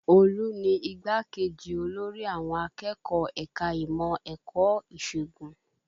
Olú ni igbá-kejì olórí àwọn akẹ́kọ̀ọ́ ẹ̀ka ìmọ̀ ẹ̀kọ́ ìṣègùn